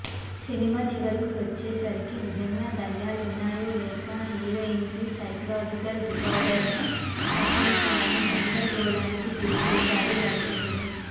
cinema చివరకు వచ్చేసరికి నిజంగా దెయ్యాలున్నాయో లేక హీరోయిన్కి సైకలాజికల్ డిజార్డరో అర్థం కాని గందరగోళానికి గురి చేస్తాడు దర్శకుడు